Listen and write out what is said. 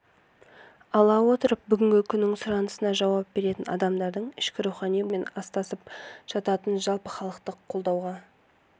ала отырып бүгінгі күннің сұранысына жауап беретін адамдардың ішкі рухани болмысымен астасып жататын жалпыхалықтық қолдауға